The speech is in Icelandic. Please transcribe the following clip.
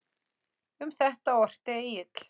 Um þetta orti Egill